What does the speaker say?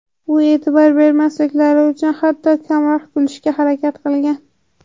U e’tibor bermasliklari uchun hatto kamroq kulishga harakat qilgan.